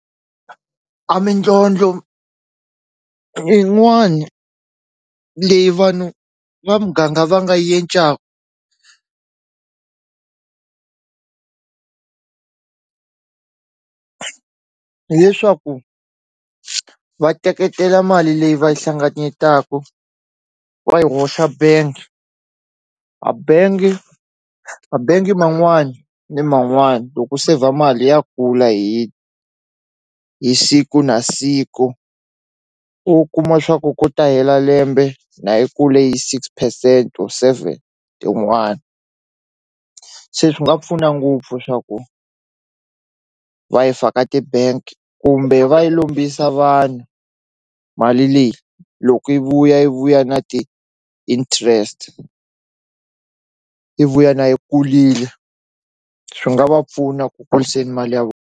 A mindlondlo yin'wani leyi vanhu va muganga va nga hileswaku va teketela mali leyi va yi hlanganyetaku wa yi hoxa bengi a bengi a bengi man'wani ni man'wani loko sevha mali ya kula hi hi siku na siku u kuma swa ku ku ta hela lembe na yi kule hi six percent or seven tin'wani se swi nga pfuna ngopfu swa ku va yi faka ti-bank kumbe va yi lombisa vanhu mali leyi loko yi vuya yi vuya na ti-interest yi vuya na yi kulile swi nga va pfuna ku kuliseni mali ya .